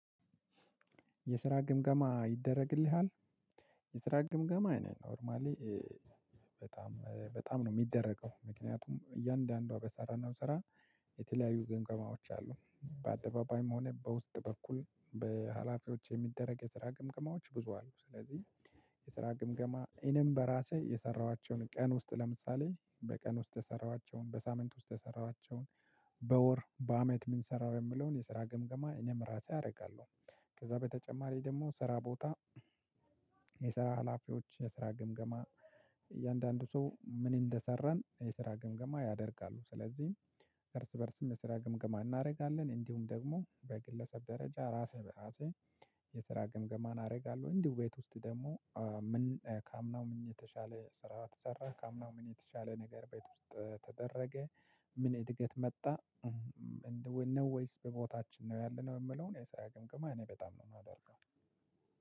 የስራ ግምገማ ይደረግልሃል። የስራ ግምገማ ነው። ኖርማሊ በጣም በጣም ነው እሚደረገው ምክንያቱም እያንዳንዷ በሰራነው ስራ። የተለያዩ ግምገማዎች አሉ በአደባባይም ሆነ በውስጥ በኩል በሀላፊዎች የሚደረግ የስራ ግምግማዎች ብዙ አሉ። ስለዚህ የስራ ግምገማ እኔም በራሴ የሰራኋቸውን ቀን ውስጥ ለምሳሌ በቀን ውስጥ የሰራኋቸውን በሳምንት ውስጥ የሰራኋቸውን። በወር በአመት ምን ሰራው የምለውን የስራ ገምገማ እኔም ራሴ አደርጋለሁ። ከዛ በተጨማሪ ደሞ ስራ ቦታ የስራ ሀላፊዎች የስራ ግምገማ። እያንዳንዱ ሰው ምን እንደሰራን የስራ ግምገማ ያደርጋሉ ስለዚህ። እርስ በእርስም የስራ ግምገማ እናረጋለን እንዲሁም ደግሞ በግለሰብ ደረጃ ራሴ በራሴ የስራ ግምገማን አረጋለሁ። እንዲሁ ቤት ውስጥ ደሞ ምን ከአምናው ምን የተሻለ ስራ ተሰራ ከአምናው ምን የተሻለ ነገር ቤት ውስጥ ተደረገ። ምን እድገት መጣ? ነው ወይስ በቦታችን ነው ያለነው። የምለውን የሰራ ግምግም እኔ በጣም ነው የማደርገው።